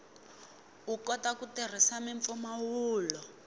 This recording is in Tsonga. u kota ku tirhisa mimpfumawulo